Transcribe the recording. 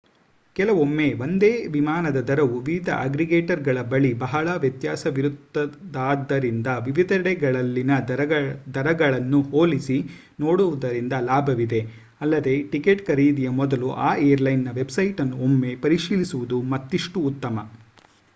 ಕೆಲವೊಮ್ಮೆ ಒಂದೇ ವಿಮಾನದ ದರವು ವಿವಿಧ ಅಗ್ರೀಗೇಟರ್‍‌ಗಳ ಬಳಿ ಬಹಳ ವ್ಯತ್ಯಾಸವಿರುತ್ತದಾದ್ದರಿಂದ ವಿವಿಧೆಡೆಗಳಲ್ಲಿನ ದರಗಳನ್ನು ಹೋಲಿಸಿ ನೋಡುವುದರಿಂದ ಲಾಭವಿದೆ ಅಲ್ಲದೆ ಟಿಕೆಟ್ ಖರೀದಿಯ ಮೊದಲು ಆ ಏರ್‍‌ಲೈನ್‌ನ ವೆಬ್‍‍ಸೈಟ್ ಅನ್ನು ಒಮ್ಮೆ ಪರಿಶೀಲಿಸುವುದು ಮತ್ತಿಷ್ಟು ಉತ್ತಮ